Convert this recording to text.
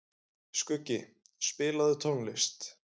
Skuggi, spilaðu tónlist.